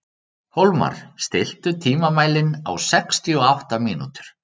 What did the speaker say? Hólmar, stilltu tímamælinn á sextíu og átta mínútur.